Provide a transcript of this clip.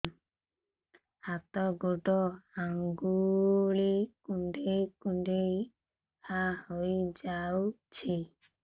ହାତ ଗୋଡ଼ ଆଂଗୁଳି କୁଂଡେଇ କୁଂଡେଇ ଘାଆ ହୋଇଯାଉଛି